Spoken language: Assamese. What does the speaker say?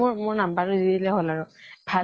মোৰ number টো দি দিলে হল আৰু। ভাল